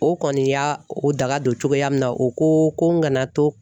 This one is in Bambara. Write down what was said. O kɔni y'a o daga don cogoya min na o ko ko n kana to